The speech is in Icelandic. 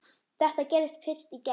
Þetta gerðist fyrst í gær.